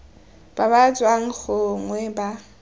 ba ba tswang gongwe ba